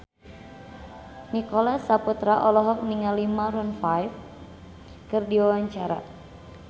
Nicholas Saputra olohok ningali Maroon 5 keur diwawancara